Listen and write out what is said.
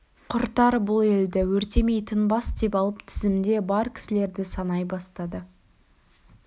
құртар бұл елді өртемей тынбас деп алып тізімде бар кісілерді санай бастады